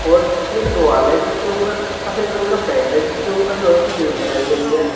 और एक दीवाल है जिसके ऊपर सफेद रंग का पेंट है जिसके ऊपर लोहे की ग्रील लगाई गई हैं।